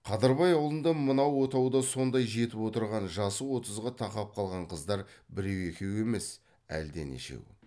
қадырбай аулында мынау отауда сондай жетіп отырған жасы отызға тақап қалған қыздар біреу екеу емес әлденешеу